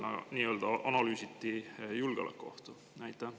Ja kas ka seal leiti analüüsides julgeolekuohtu?